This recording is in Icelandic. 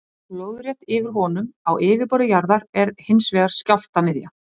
Lóðrétt yfir honum á yfirborði jarðar er hins vegar skjálftamiðja.